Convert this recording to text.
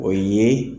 O ye